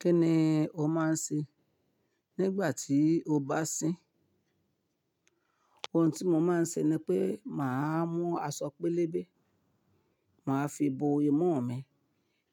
Kí ni o máa ń ṣe nígbà tí o bá sín? Ohun tí mo máa ń ṣe ni pé mà á mú aṣọ pélébé, mà á fi bo imú mi